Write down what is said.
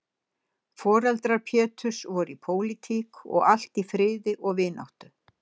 Foreldrar Péturs voru í pólitík og allt í friði og vináttu.